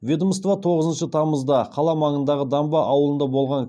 ведомство тоғызыншы тамызда қала маңындағы дамба ауылында болған